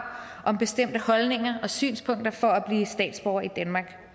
om bestemte holdninger og synspunkter for at blive statsborger i danmark